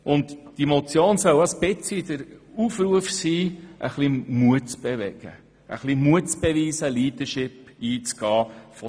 Diese Motion soll ein Aufruf dazu sein, Mut zu beweisen und Leadership zu zeigen.